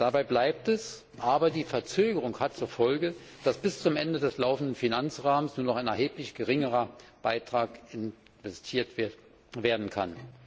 Dabei bleibt es, aber die Verzögerung hat zur Folge, dass bis zum Ende des laufenden Finanzrahmens nur noch ein erheblich geringerer Betrag investiert werden kann.